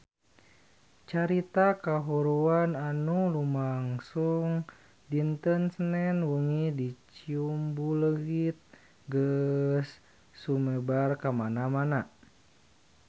Carita kahuruan anu lumangsung dinten Senen wengi di Ciumbuleuit geus sumebar kamana-mana